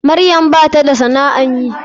Maryam bata da sana'an yi.